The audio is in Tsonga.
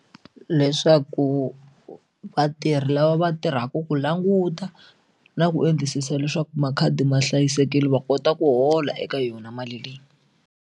Leswaku vatirhi lava va tirhaka ku languta na ku endlisisa leswaku makhadi ma hlayisekile va kota ku hola eka yona mali leyi.